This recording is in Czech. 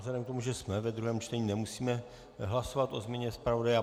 Vzhledem k tomu, že jsme ve druhém čtení, nemusíme hlasovat o změně zpravodaje.